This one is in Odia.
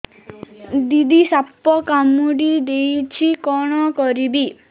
ଦିଦି ସାପ କାମୁଡି ଦେଇଛି କଣ କରିବି